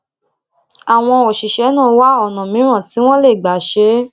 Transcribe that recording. àwọn òṣìṣé náà wá àwọn ònà mìíràn tí wón lè gbà ṣe é